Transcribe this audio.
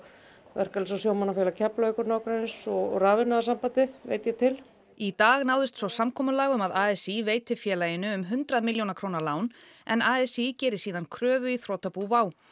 verkalýðs og sjómannafélag Keflavíkur og nágrennis og Rafiðnaðarsambandið veit ég til í dag náðist svo samkomulag um að a s í veiti félaginu um hundrað milljón króna lán en a s í geri síðan kröfu í þrotabú WOW